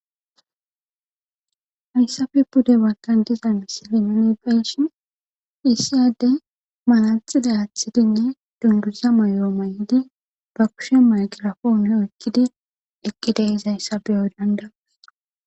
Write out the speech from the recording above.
Hayssabe bude walkan diza misili nonebayshin issyade malatxiday aathidinne dunduza mayoo may'idi ba kushe maqirafonne ekkidi eqqide hizayssabeyo dandawus.